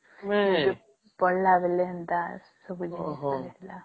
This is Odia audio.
ହଁ ପଢିଲା ବେଳେ ହେନ୍ତା ସବୁ ଜିନିଷ ହେଲା